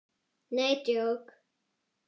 NEi DJÓK!